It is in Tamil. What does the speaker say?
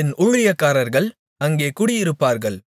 என் ஊழியக்காரர்கள் அங்கே குடியிருப்பார்கள்